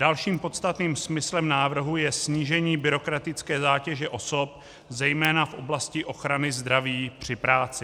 Dalším podstatným smyslem návrhu je snížení byrokratické zátěže osob zejména v oblasti ochrany zdraví při práci.